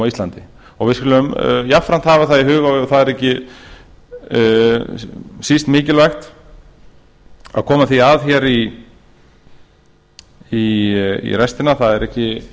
íslandi við skulum jafnframt hafa það í huga og það er ekki síst mikilvægt að koma því að í restina það er